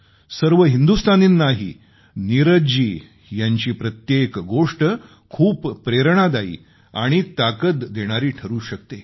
सर्व हिंदुस्तानींनाही नीरज जी यांची प्रत्येक गोष्ट खूप प्रेरणादायी आणि ताकद देणारी ठरू शकते